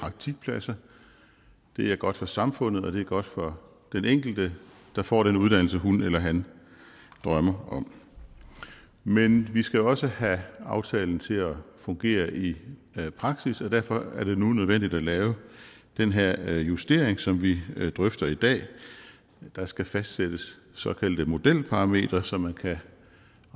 praktikpladser det er godt for samfundet og det er godt for den enkelte der får den uddannelse som hun eller han drømmer om men vi skal også have aftalen til at fungere i praksis og derfor er det nu nødvendigt at lave den her justering som vi drøfter i dag der skal fastsættes såkaldte modelparametre så man kan